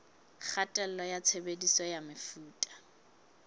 kgatello ya tshebediso ya mefuta